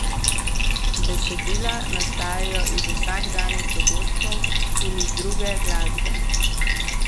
Besedila nastajajo iz vsakdanjih dogodkov in iz druge glasbe.